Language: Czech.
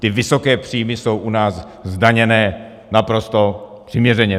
Ty vysoké příjmy jsou u nás zdaněny naprosto přiměřeně.